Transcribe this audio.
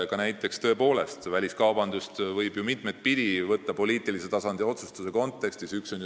Ka väliskaubandust võib ju poliitilise tasandi otsustuse kontekstis mitut pidi võtta.